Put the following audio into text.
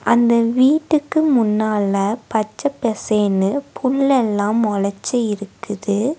அந்த வீட்டுக்கு முன்னால பச்ச பசேன்னு புள்ளெல்லா மொளச்சி இருக்குது.